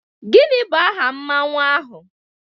Gịnị bụ aha Mmanwu ahụ?